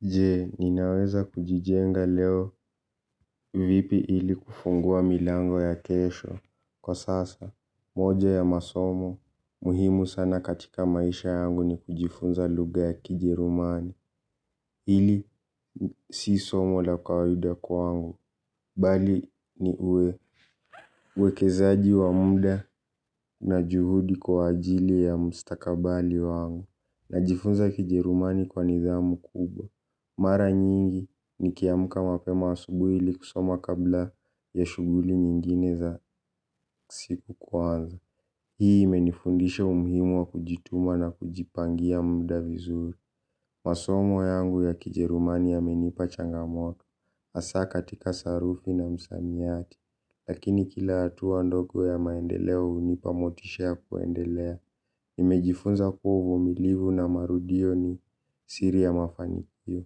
Je, ninaweza kujijenga leo vipi ili kufungua milango ya kesho. Kwa sasa, moja ya masomo, muhimu sana katika maisha yangu ni kujifunza lugha ya kijerumani. Hili si somo la kawaida kwangu. Bali ni uekezaji wa muda na juhudi kwa ajili ya mstakabali wangu. Najifunza kijerumani kwa nidhamu kubwa. Mara nyingi nikiamka mapema asubuhi ili kusoma kabla ya shughuli nyingine za siku kwanza. Hii imenifundisha umuhimu wa kujituma na kujipangia muda vizuri. Masomo yangu ya kijerumani yamenipa changamoto hasa katika sarufi na msamiati. Lakini kila hatua ndogo ya maendeleo hunipa motisha ya kuendelea. Nimejifunza kuwa uvumilivu na marudio ni siri ya mafanikio.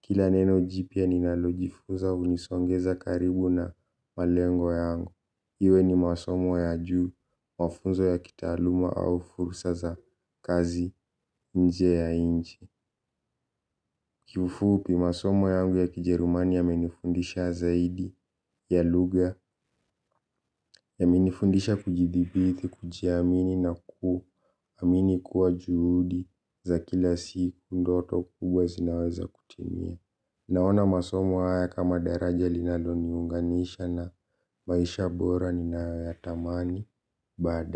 Kila neno jipya ninalojifunza hunisongeza karibu na malengo yangu. Iwe ni masomo ya juu, mafunzo ya kitaaluma au fursa za kazi nje ya nchi. Kiufupi masomo yangu ya kijerumani yamenifundisha zaidi ya lugha yamenifundisha kujidhibithi kujiamini na kuamini kuwa juhudi za kila siku ndoto kubwa zinaweza kutimia. Naona masomo haya kama daraja linaloniunganisha na maisha bora ninayoyatamani baada.